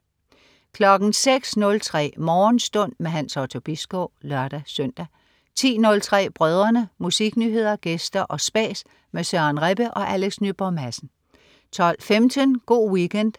06.03 Morgenstund. Hans Otto Bisgaard (lør-søn) 10.03 Brødrene. Musiknyheder, gæster og spas med Søren Rebbe og Alex Nyborg Madsen 12.15 Go' Weekend